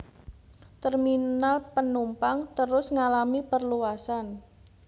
Terminal panumpang terus ngalami perluasan